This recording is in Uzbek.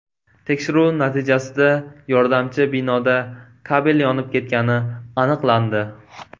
Tekshiruv natijasida yordamchi binoda kabel yonib ketgani aniqlandi.